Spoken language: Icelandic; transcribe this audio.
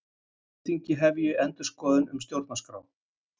Alþingi hefji endurskoðun stjórnarskrár